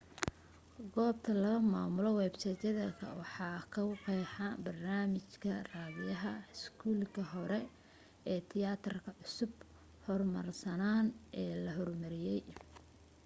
goobta laga maamulo websayt ka waxaa kagu qeexa barnaamijka raadiyaha iskuulka hore ee tiyaatarka cusba hormarsanana ee la hormariyey